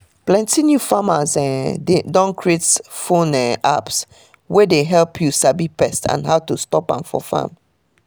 plenty new farmers um don create phone um apps wey dey help you sabi pest and how to stop am for farm